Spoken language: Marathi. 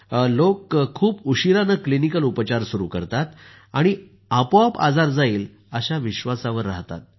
लोक खूप उशिरानं क्लिनिकल उपचार सुरू करतात आणि आपोआप आजार जाईल अशा विश्वासावर रहातात